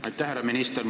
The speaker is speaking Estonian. Aitäh, härra minister!